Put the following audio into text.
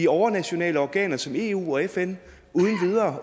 overnationale organer som eu og fn